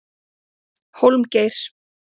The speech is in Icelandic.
Hólmgeir